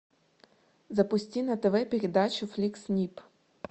запусти на тв передачу флик снип